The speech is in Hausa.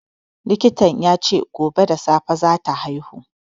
Likitan ya ce gobe da safe za ta haihu.